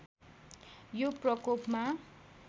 यो प्रकोपमा